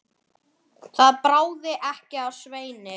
Lóa yppti öxlum.